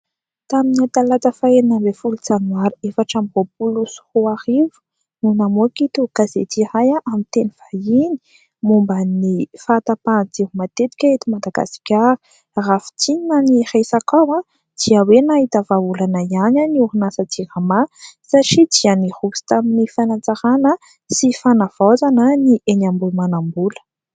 Tamin'ny talata faha enina ambin'ny folo janoary, efatra amby roapolo sy roa arivo, no namoaka ito gazety iray amin'ny teny vahiny, momba ny fahatapahan-jiro matetika eto Madagasikara. Raha fintinina ny resaka ao dia hoe : nahita vahaolana ihany ny orinasa JIRAMA, satria dia niroso tamin'ny fanatsarana sy fanavaozana ny eny Ambohimanambola.